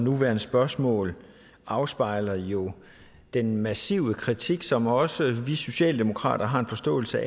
nuværende spørgsmål afspejler jo den massive kritik som også vi socialdemokrater har en forståelse